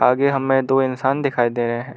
आगे हमें दो इंसान दिखाई दे रहे हैं।